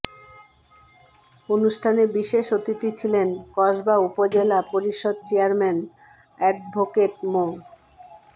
অনুষ্ঠানে বিশেষ অতিথি ছিলেন কসবা উপজেলা পরিষদ চেয়ারম্যান অ্যাডভোকেট মো